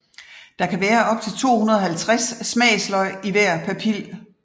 Der kan være op til 250 smagsløg i hver papil